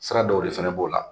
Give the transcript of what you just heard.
Sira dɔw de fɛnɛ b'o la